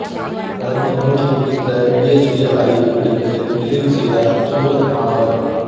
பிரதமர் மோடி குறித்த பிஎச்டி ஆய்வு படிப்பை நிறைவு செய்தார் சூரத் மாணவர்